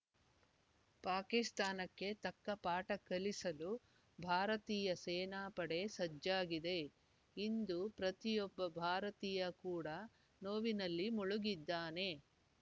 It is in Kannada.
ಪಾಕಿಸ್ತಾನಕ್ಕೆ ತಕ್ಕ ಪಾಠ ಕಲಿಸಲು ಭಾರತೀಯ ಸೇನಾ ಪಡೆ ಸಜ್ಜಾಗಿದೆ ಇಂದು ಪ್ರತಿಯೊಬ್ಬ ಭಾರತೀಯ ಕೂಡ ನೋವಿನಲ್ಲಿ ಮುಳುಗಿದ್ದಾನೆ